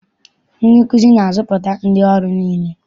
Ndị nkụzi na-azụpụta ndị ọrụ niile.